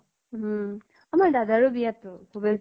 উম আমাৰ দাদাৰো বিয়া তো, ভবেশ